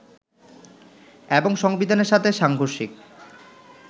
এবং সংবিধানের সাথে সাংঘর্ষিক